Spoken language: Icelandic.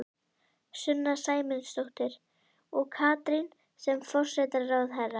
Sunna Sæmundsdóttir: Og Katrín sem forsætisráðherra?